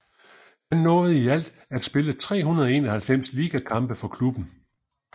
Han nåede i alt at spille 391 ligakampe for klubben